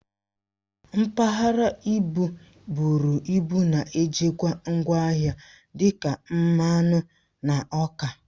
Mpaghara ibu bụrụ ịbụ na-ejikwa ngwa ahịa dị ka mmanụ na ọka